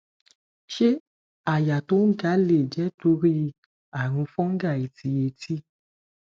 se aya to n ga le je tori arun fungi ti eti